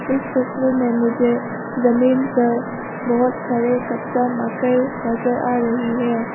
इस तस्वीर में मुझे जमीन पर बहुत सारे कच्चा मकई नजर आ रही है।